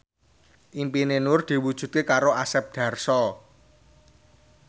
impine Nur diwujudke karo Asep Darso